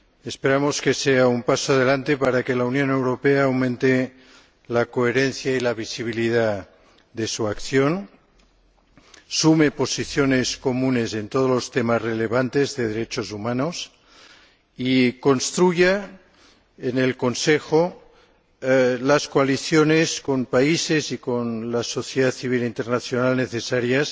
Esperamos que sea un paso adelante para que la Unión Europea aumente la coherencia y la visibilidad de su acción, sume posiciones comunes en todos los temas relevantes de derechos humanos y construya, en el Consejo, las coaliciones con países y con las sociedades civil e internacional necesarias